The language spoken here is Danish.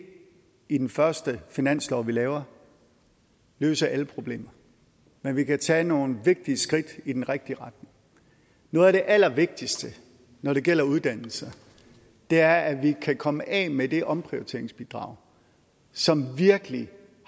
i den første finanslov vi laver løse alle problemer men vi kan tage nogle vigtige skridt i den rigtige retning noget af det allervigtigste når det gælder uddannelse er at vi kan komme af med det omprioriteringsbidrag som virkelig